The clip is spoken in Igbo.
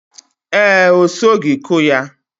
Ee, o sogi ku ya.